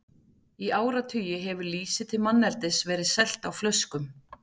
Í áratugi hefur lýsi til manneldis verið selt á flöskum.